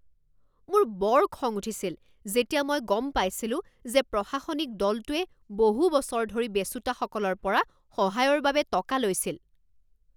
মোৰ বৰ খং উঠিছিল যেতিয়া মই গম পাইছিলো যে প্ৰশাসনিক দলটোৱে বহু বছৰ ধৰি বেচোঁতাসকলৰ পৰা সহায়ৰ বাবে টকা লৈছিল।